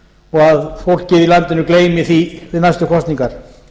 og að fólkið í landinu gleymi því við næstu kosningar